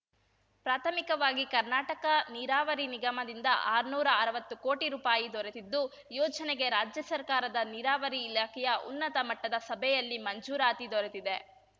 ಪ್ರಾಥಮಿಕವಾಗಿ ಕರ್ನಾಟಕ ನೀರಾವರಿ ನಿಗಮದಿಂದ ಆರ್ನೂರಾ ಅರ್ವತ್ತು ಕೋಟಿ ರೂಪಾಯಿ ದೊರೆತಿದ್ದು ಯೋಜನೆಗೆ ರಾಜ್ಯ ಸರ್ಕಾರದ ನೀರಾವರಿ ಇಲಾಖೆಯ ಉನ್ನತ ಮಟ್ಟದ ಸಭೆಯಲ್ಲಿ ಮಂಜೂರಾತಿ ದೊರೆತಿದೆ